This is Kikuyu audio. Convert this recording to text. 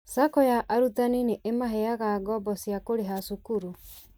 SACCO ya arutani nĩ ĩmaheaga ngoombo cia kũrĩha cukuru